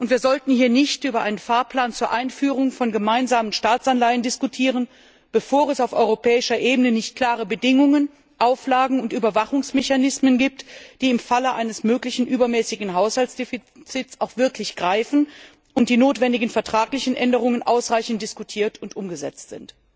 Wir sollten hier nicht über einen Fahrplan zur Einführung von gemeinsamen Staatsanleihen diskutieren, bevor es nicht auf europäischer Ebene klare Bedingungen, Auflagen und Überwachungsmechanismen gibt, die im Falle eines möglichen übermäßigen Haushaltsdefizits auch wirklich greifen, und die notwendigen vertraglichen Änderungen ausreichend diskutiert und umgesetzt sind.